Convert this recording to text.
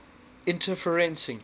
interferencing